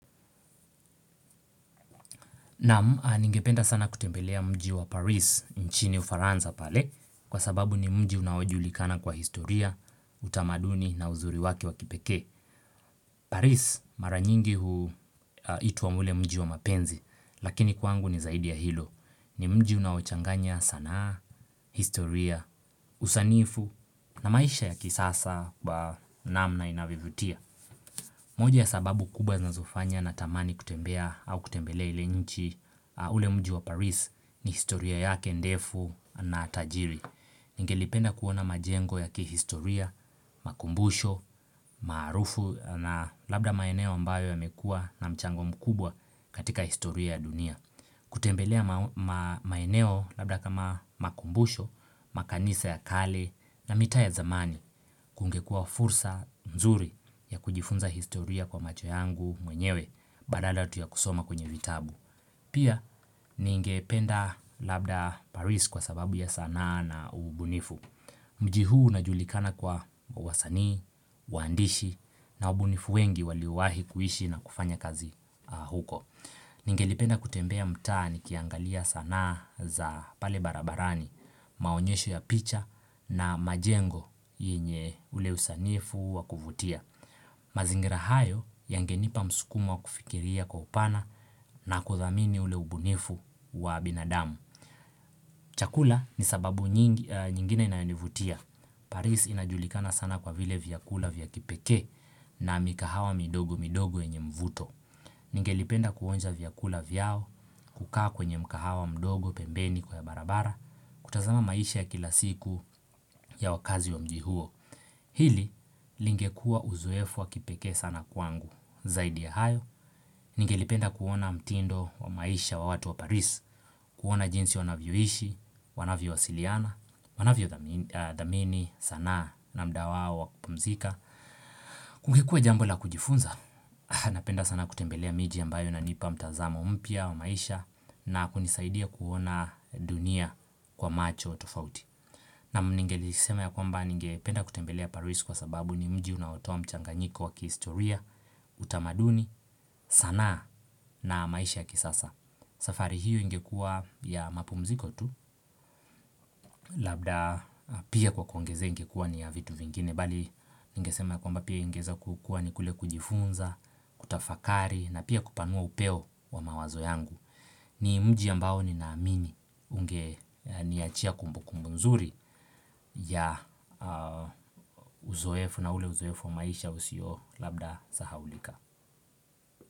Naam. Ningependa sana kutembelea mji wa Paris nchini ufaransa pale kwa sababu ni mji unaojulikana kwa historia, utamaduni na uzuri wake wa kipekee. Paris mara nyingi huitwa ule mji wa mapenzi lakini kwangu ni zaidi ya hilo. Ni mji unaochanganya sanaa, historia, usanifu na maisha ya kisasa kwa namna inavyovutia. Moja ya sababu kubwa zinazofanya natamani kutembea au kutembelea ile nchi ule mji wa Paris ni historia yake ndefu na tajiri. Ningelipenda kuona majengo ya kihistoria, makumbusho, maarufu na labda maeneo ambayo yamekua na mchango mkubwa katika historia dunia. Kutembelea maeneo labda kama makumbusho, makanisa ya kale na mitaa ya zamani kungekua fursa mzuri ya kujifunza historia kwa macho yangu mwenyewe Badala tu ya kusoma kwenye vitabu Pia ningependa labda Paris kwa sababu ya sanaa na ubunifu Mji huu unajulikana kwa wasani, waandishi na ubunifu wengi waliowahi kuishi na kufanya kazi huko Ningelipenda kutembea mtaa nikiangalia sanaa za pale barabarani, maonyesho ya picha na majengo yenye ule usanifu wa kuvutia. Mazingira hayo yangenipa msukumo wa kufikiria kwa upana na kuthamini ule ubunifu wa binadamu. Chakula ni sababu nyingine inayonivutia. Paris inajulikana sana kwa vile vyakula vya kipekee na mikahawa midogo midogo yenye mvuto. Ningelipenda kuonja vyakula vyao, kukaa kwenye mkahawa mdogo pembeni kwa ya barabara, kutazama maisha ya kila siku ya wakazi wa mji huo. Hili lingekua uzoefu wa kipekee sana kwangu zaidi ya hayo. Ningelipenda kuona mtindo wa maisha wa watu wa paris, kuona jinsi wanavyo ishi, wanavyo wasiliana, wanavyo dhamini sanaa na mda wao wa kupumzika. Kukikue jambo la kujifunza Napenda sana kutembelea miji ambayo inanipa mtazamo mpya wa maisha na kunisaidia kuona dunia kwa macho tofauti Naam ningelisema ya kwamba ningependa kutembelea paris kwa sababu ni mji unaotoa mchanganyiko wa kihistoria utamaduni sanaa na maisha ya kisasa safari hiyo ingekua ya mapumziko tu Labda pia kwa kuongezeka kuwa ni ya vitu vingine bali ningesema ya kwamba pia ingeeza kukua ni kule kujifunza, kutafakari na pia kupanua upeo wa mawazo yangu. Ni mji ambao ninaamini ungeniachia kumbukumbu nzuri ya uzoefu na ule uzoefu wa maisha usio labda sahaulika.